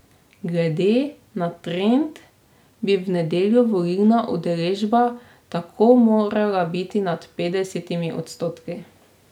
Glede na trend bi v nedeljo volilna udeležba tako morala biti nad petdesetimi odstotki.